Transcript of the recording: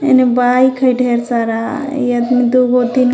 हेने बाइक है ढेर सारा इ आदमी दुगो तीन --.